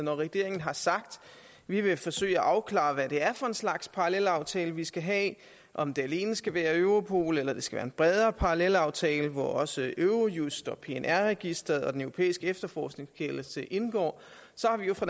regeringen har sagt vi vil forsøge at afklare hvad det er for en slags parallelaftale vi skal have om det alene skal være europol eller det skal være en bredere parallelaftale hvor også eurojust pnr registeret og den europæiske efterforskningskendelse indgår så har vi jo fra